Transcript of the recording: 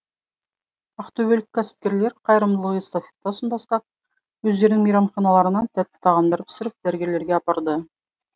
ақтөбелік кәсіпкерлер қайырымдылық эстафетасын бастап өздерінің мейрамханаларынан тәтті тағамдар пісіріп дәрігерлерге апарды